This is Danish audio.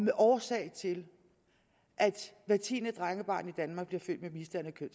er årsag til at hvert tiende drengebarn i danmark bliver født med misdannede